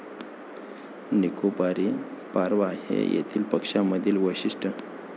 निकोबारी पारवा हे येथील पक्षामधील वैशिष्ट्य.